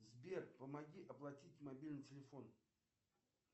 сбер помоги оплатить мобильный телефон